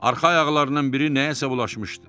Arxa ayaqlarından biri nəyəsə bulaşmışdı.